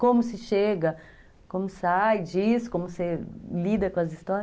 Como se chega, como sai disso, como se lida com as histórias.